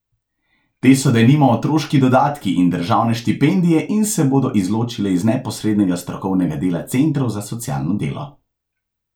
Te so denimo otroški dodatki in državne štipendije in se bodo izločile iz neposrednega strokovnega dela centrov za socialno delo.